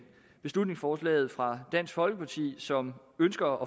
beslutningsforslaget fra dansk folkeparti som ønsker